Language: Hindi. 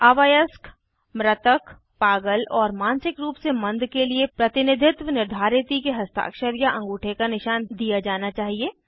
अवयस्क मृतक पागल और मानसिक रूप से मंद के लिए प्रतिनिधित्व निर्धारिती के हस्ताक्षर या अंगूठे का निशान दिया जाना चाहिए